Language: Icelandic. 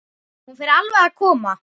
Hún fer alveg að koma.